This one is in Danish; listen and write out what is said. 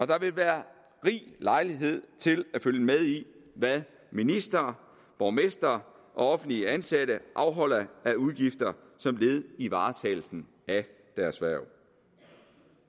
der vil være rig lejlighed til at følge med i hvad ministre borgmestre og offentligt ansatte afholder af udgifter som led i varetagelsen af deres hverv